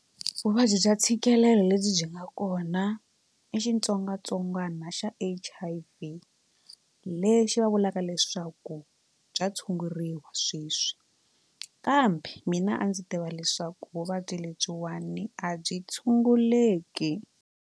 Vuvabyi bya ntshikelelo lebyi byi nga kona i xitsongwatsongwana xa H_I_V lexi va vulaka leswaku bya tshunguriwa sweswi kambe mina a ndzi tiva leswaku vuvabyi lebyiwani a byi tshunguleki.